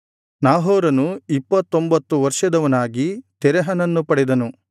ನಾಹೋರನು ಇಪ್ಪತ್ತೊಂಭತ್ತು ವರ್ಷದವನಾಗಿ ತೆರಹನನ್ನು ಪಡೆದನು